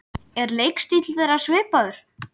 Er leikstíll þeirra svipaður?